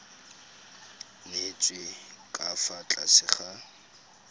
nyetswe ka fa tlase ga